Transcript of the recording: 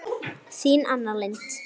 Þín Anna Lind.